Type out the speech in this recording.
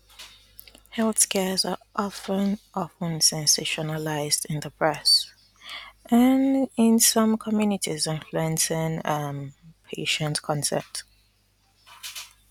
health scares are of ten of ten sensationalized in the press um in some um communities influencing um patient consent